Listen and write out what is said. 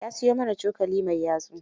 Ya siyo mana cokali mai yatsu.